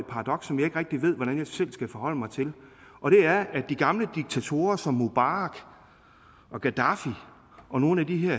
paradoks som jeg ikke rigtig ved hvordan jeg selv skal forholde mig til at de gamle diktatorer som mubarak og gaddafi og nogle